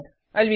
अलविदा